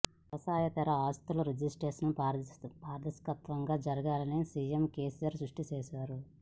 వ్యవసాయేతర ఆస్తుల రిజిస్ట్రేషన్లు పారదర్శకంగా జరగాలని సీఎం కేసీఆర్ స్పష్టం చేశారు